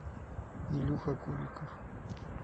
илюха куликов